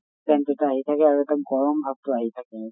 scent এটা আহি থাকে আৰু এটা গৰম ভাৱ টো আহি থাকে